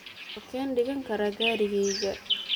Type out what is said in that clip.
Halkeen dhigan karaa gaadhigayga?